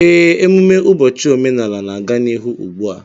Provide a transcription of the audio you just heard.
Ee, emume ụbọchị omenala na-aga n'ihu ugbu a